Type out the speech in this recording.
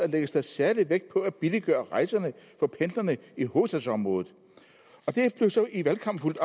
lægges der særlig vægt på at billiggøre rejserne for pendlerne i hovedstadsområdet i valgkampen